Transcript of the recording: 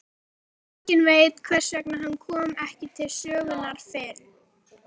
Enginn veit hvers vegna hann kom ekki til sögunnar fyrr.